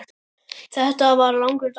Þetta var langur dagur.